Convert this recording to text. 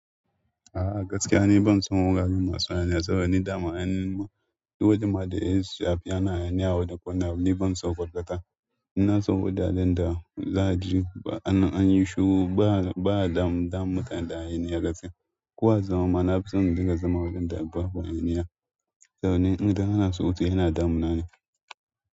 A'a gaskiya ni ban son wuraren masu hayaniya saboda ni dama an yi wajen ma da shi a fi ana hayaniya a wani a wani corner ban so kwarkwata. In so wajajen da za a ji an yi shiru ba ba a damu damu mutane da hayaniya gaskiya. Ko a zama ma na fi son mu dinga zama wurin da babu hayaniya saboda idan ana surutu yana damunane.